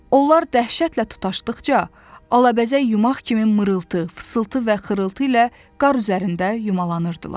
Onlar dəhşətlə tutaşdıqca, alabəzək yumaq kimi mırıltı, fısıltı və xırıltı ilə qar üzərində yumalanırdılar.